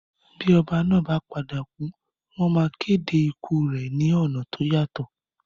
Bí oba náà ba padà kù, wón ma kéde ikù rẹ ni ọ̀nà to yàtọ̀